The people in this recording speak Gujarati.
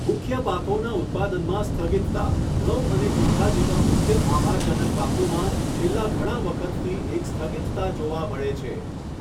મુખ્ય પાકોના ઉત્પાદનમાં સ્થગિતતા ઘઉં અને ચોખા જેવા મુખ્ય આહારજનક પાકોમાં છેલ્લા ઘણા વખતથી એક સ્થગિતતા જોવા મળે છે.